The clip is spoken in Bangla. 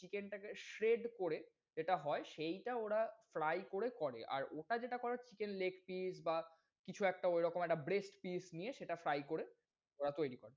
chicken টা কে shade করে যেটা হয় সেইটা ওরা fry কোরে করে। আর ওটা যেটা করে chicken leg piece বা কিছু একটা ওই রকম breast piece নিয়ে সেটা fry করে ওরা তৈরি করে।